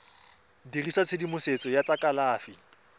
dirisa tshedimosetso ya tsa kalafi